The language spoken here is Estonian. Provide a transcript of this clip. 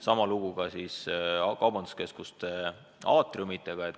Sama lugu on kaubanduskeskuste aatriumitega.